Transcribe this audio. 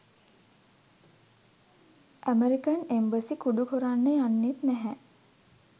American embassy කුඩු කොරන්න යන්නෙත් නැහැ